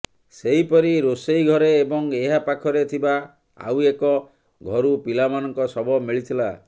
ସେହିପରି ରୋଷେଇ ଘରେ ଏବଂ ଏହା ପାଖରେ ଥିବା ଆଉ ଏକ ଘରୁ ପିଲାମାନଙ୍କ ଶବ ମିଳିଥିଲା